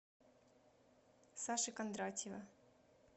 саши кондратьева